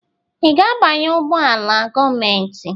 Ị ga-abanye ụgbọ ala gọọmentị?